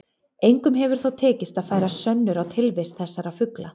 Engum hefur þó tekist að færa sönnur á tilvist þessara fugla.